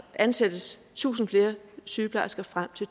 ansættes tusind flere sygeplejersker frem til